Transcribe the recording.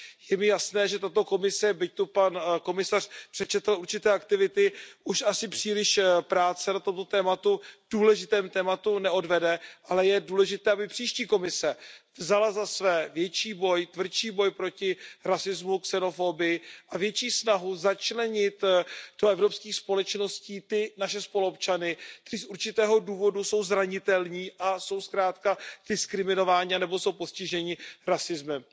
Je mi jasné, že tato Komise, byť zde pan komisař přečetl určité aktivity, už asi příliš práce na tomto důležitém tématu neodvede, ale je důležité, aby příští Komise vzala za své tvrdší boj proti rasismu a xenofobii a větší snahu začlenit do evropských společností ty naše spoluobčany, kteří z určitého důvodu jsou zranitelní a jsou zkrátka diskriminováni anebo jsou postiženi rasismem.